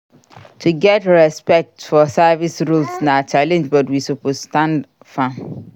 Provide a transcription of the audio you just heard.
To get get respect for service roles na challenge but we suppose stand firm.